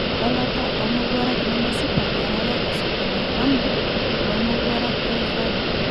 Elata omowuarak nemesipa erare osokoni haramu lo mowarak e faru.